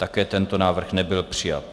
Také tento návrh nebyl přijat.